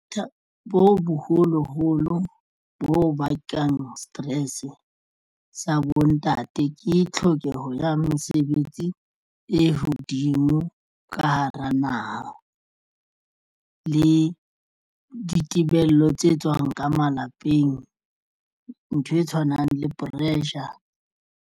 Bothata bo boholoholo bo bakang stress sa bontate ke tlhokeho ya mesebetsi e hodimo ka hara naha le ditebello tse tswang ka malapeng ntho e tshwanang le pressure.